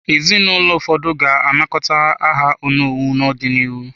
Ezinụlọ ụfọdụ ga-anakọta aha onowu n’ọdịnihu.